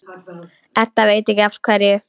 Edda veit ekki af hverju.